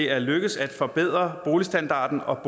er lykkedes at forbedre boligstandarden og